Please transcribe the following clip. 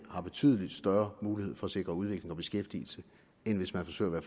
betydelig større mulighed for at sikre udvikling og beskæftigelse end hvis man forsøger